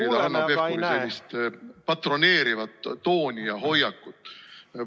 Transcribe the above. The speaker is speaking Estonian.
Ma ei saa aktsepteerida Hanno Pevkuri sellist patroneerivat tooni ja hoiakut.